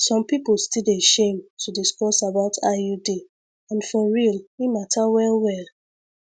some people still dey shame to discuss about iud and for real e matter well well